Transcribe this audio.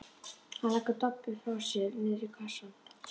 Hann leggur Doppu frá sér niður í kassann.